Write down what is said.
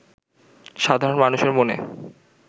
সাধারণ মানুষের মনে